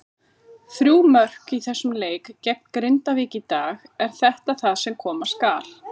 Þrjú mörk í þessum leik gegn Grindavík í dag, er þetta það sem koma skal?